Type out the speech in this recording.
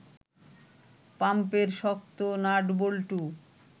পাম্পের শক্ত নাটবল্টু